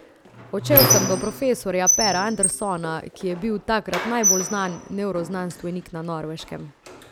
Odšel sem do profesorja Pera Andersona, ki je bil takrat najbolj znan nevroznanstvenik na Norveškem.